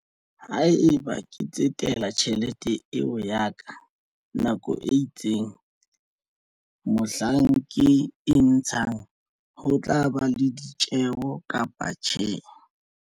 Haeba ke tsetela tjhelete eo ya ka nako e itseng mohlang ke e ntshang ho tla ba le ditjeho kapa tjhe?